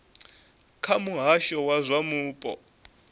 kha muhasho wa zwa mupo